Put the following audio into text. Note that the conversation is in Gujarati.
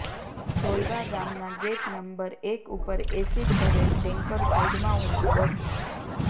જોલવા ગામના ગેટ નંબર એક ઉપર એસીડ ભરેલ ટેન્કર સાઇડમાં ઉભુ હતું